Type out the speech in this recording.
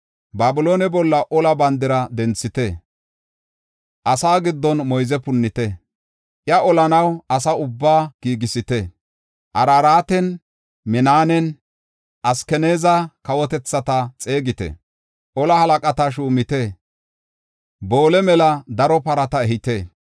“Babiloone bolla ola bandira denthite; asa giddon moyze punnite. Iya olanaw asaa ubbaa giigisite; Araraate, Minanne Askanaaza kawotethata xeegite. Ola halaqata shuumite; boole mela daro parata ehite.